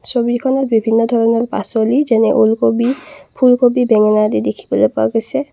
ছবিখনত বিভিন্ন ধৰণৰ পাচলি যেনে ওলকবি ফুলকবি বেঙেনা আদি দেখিবলৈ পোৱা গৈছে।